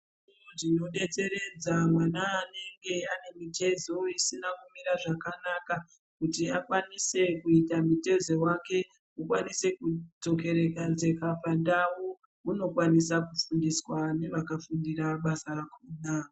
Tinodetseredza mwana anenge ane mitezo isina kumira zvakanaka kuti akwanise kuita mutezo wake ukwanise kudzokeredzeka pandau, unokwanisa kufundiswa nevakafundira basa rakona.